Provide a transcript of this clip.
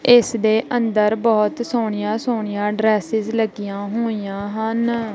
ਇਸ ਦੇ ਅੰਦਰ ਬਹੁਤ ਸੋਹਣੀਆਂ-ਸੋਹਣੀਆਂ ਡਰੈਸਸ ਲੱਗੀਆਂ ਹੋਈਆਂ ਹਨ।